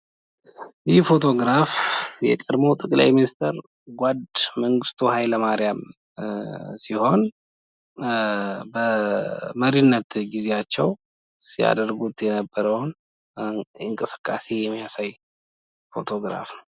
ይህ ፎቶግራፍ የቀድሞ ጠቅላይ ሚኒስትር ጓድ መንግስቱ ኃይለማርያም ሲሆን በመሪነት ጊዜያቸው ሲያደርጉት የነበረውን እንቅስቃሴ የሚያሳይ ፎቶግራፍ ነው።